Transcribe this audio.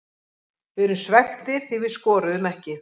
Við erum svekktir því við skoruðum ekki.